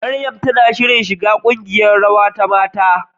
Mariam tana shirin shiga ƙungiyar rawa ta mata.